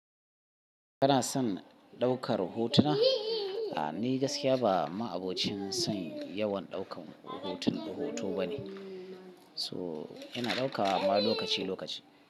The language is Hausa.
Kana son ɗaukar hotuna? A'a, ni gaskiya ba ma'abocin son yawan ɗaukan hotun hoto ba ne. So, ina ɗaukawa amma lokaci lokaci.